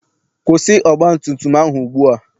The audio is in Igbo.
Kwụsị ọgbatumtum ahụ ugbua!